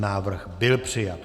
Návrh byl přijat.